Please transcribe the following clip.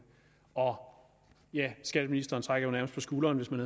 og ja skatteministeren trak jo nærmest på skulderen kan